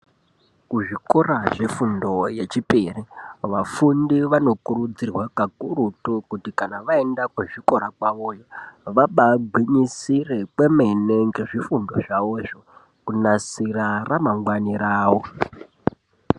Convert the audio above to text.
Kuzvikora zvefundo yechipiri vafundi vanokurudzirirwa kakurutu kuti kana vaenda kuzvikora kwavoyo vabagwinyisire kwemene ngezvifundo zvavozvo kunasira ramangwani ravo.